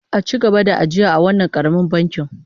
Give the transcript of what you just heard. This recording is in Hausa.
A ci gaba ajiya a wannan karamin bankin